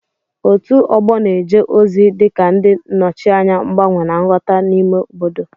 Òtù ọgbọ na-eje ozi dị ka ndị nnọchianya mgbanwe na nghọta n'ime obodo.